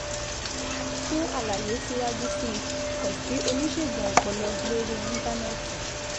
Fún àlàyé síwájú sí i, kàn sí oníṣègùn ọpọlọ lórí Íńtánẹ́ẹ̀tì